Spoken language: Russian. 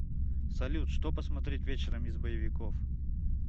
салют что посмотреть вечером из боевиков